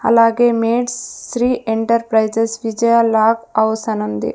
అలాగే మేట్స్ Shri enterprises Vijaya lock house అనుంది.